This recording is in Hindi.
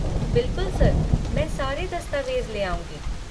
बिलकुल, सर, मैं सारे दस्तावेज ले आऊँगी।